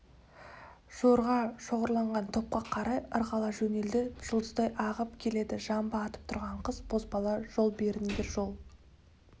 жорға шоғырланған топқа қарай ырғала жөнелді жұлдыздай ағып келеді жамбы атып тұрған қыз-бозбала жол беріңдер жол